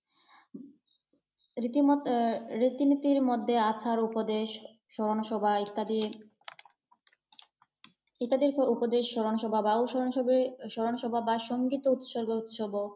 রীতির মধ্যে রীতি নীতির মধ্যে আসার উপদেশ, স্মরণ সভা ইত্যাদি ইত্যাদির উপদেশ স্মরণ সভা বা স্মরণ সভা স্মরণ সভা বা সঙ্গীত উৎসর্গ উৎসবও।